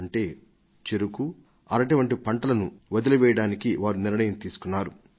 అంటే చెరకు అరటి వంటివి సాగు చేయడాన్ని మానివేయాలని వారు నిర్ణయించుకొన్నారు